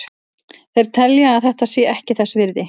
Þeir telja að þetta sé ekki þess virði.